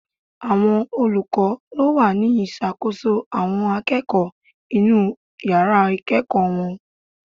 Àwọn olùkọ́ ló wà ní ìṣàkóso àwọn akẹ́kọ̀ọ́ inú yàrá ìkẹ́ẹ̀kọ̀ wọn.